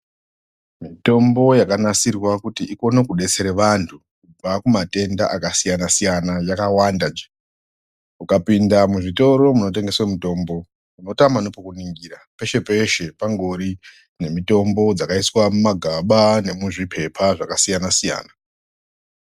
Mitombo yakanasirwa kuti ikone kudetsera vanhu kubva kumatenda akasiyanasiyana yakawanda mukapinda muzvitoro munotengeswe mitombo munotama nepekuningira peshe-peshe pangori nemitombo dzakaiswa mumagaba nemuzvipepa dzakasiyanasiyana.